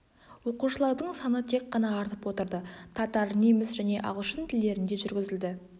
оқушылардың саны тек қана артып отырды татар неміс және ағылшын тілдерінде жүргізілді